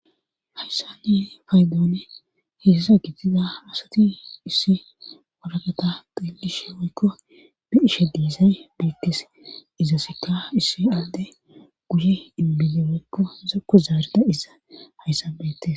hayssa niye faydoone heessa gittiza asati issi walagata deelishe woykko bi ishe diisay biiktes izasikka issi alde guye inbide woykko zako zaaridayissa hayssan betes